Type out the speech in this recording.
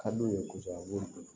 Ka d'u ye kosɛbɛ a b'o dun